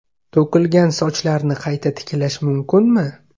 To‘kilgan sochlarni qayta tiklash mumkinmi?.